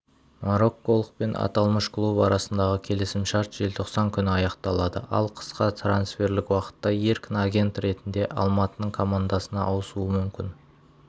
морокколық пен аталмыш клуб арасындағы келісімшарт желтоқсан күні аяқталады ал қысқы трансферлік уақытта еркін агент ретінде алматының командасына ауысуы мүмкін